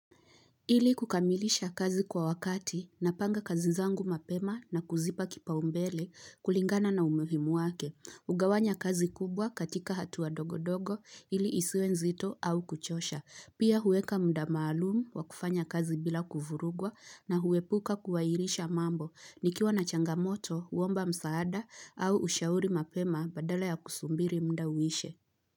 Ili kukamilisha kazi kwa wakati napanga kazi zangu mapema na kuzipa kipaumbele kulingana na umuhimu wake. Hugawanya kazi kubwa katika hatua ndogo ndogo ili isiwe nzito au kuchosha. Pia huweka muda maalumu wa kufanya kazi bila kuvurugwa na huepuka kuhairisha mambo. Nikiwa na changamoto, huomba msaada au ushauri mapema badala ya kusubiri muda uishe.